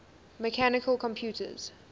mechanical computers